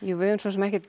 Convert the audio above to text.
við höfum